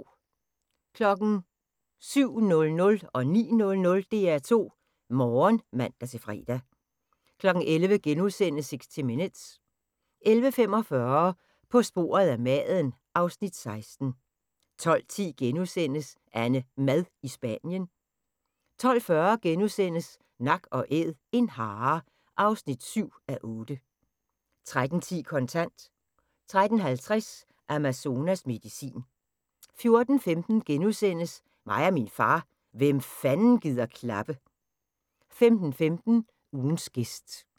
07:00: DR2 Morgen (man-fre) 09:00: DR2 Morgen (man-fre) 11:00: 60 Minutes * 11:45: På sporet af maden (Afs. 16) 12:10: AnneMad i Spanien (5:8)* 12:40: Nak & Æd – en hare (7:8)* 13:10: Kontant 13:50: Amazonas medicin 14:15: Mig og min far – hvem fanden gider klappe? * 15:15: Ugens gæst